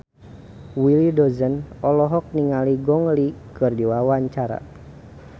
Willy Dozan olohok ningali Gong Li keur diwawancara